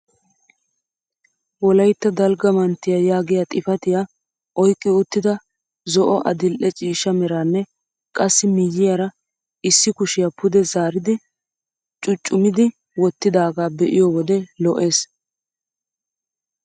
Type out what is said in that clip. Wolaytta dalgga manttiyaa yaagiyaa xifatiyaa oyqqi uttida zo'o adil'e ciishsha meranne qassi miyiyaara issi kushiyaa pude zaaridi cuucummidi wottidagaa be'iyo wode lo"ees.